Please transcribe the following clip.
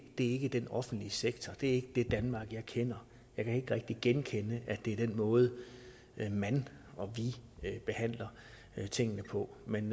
det er ikke den offentlige sektor det er ikke det danmark jeg kender jeg kan ikke rigtig genkende at det er den måde man og vi behandler tingene på men